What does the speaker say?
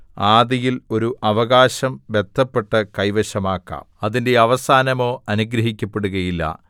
ആദിയിൽ ഒരു അവകാശം ബദ്ധപ്പെട്ട് കൈവശമാക്കാം അതിന്റെ അവസാനമോ അനുഗ്രഹിക്കപ്പെടുകയില്ല